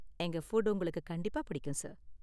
எங்க ஃபுட் உங்களுக்கு கண்டிப்பா பிடிக்கும், சார்.